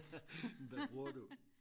hvad bruger du